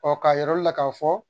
Ɔ k'a yir'aw la k'a fɔ